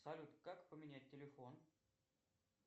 салют как поменять телефон